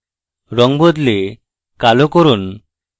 রঙ বদলে কালো করুন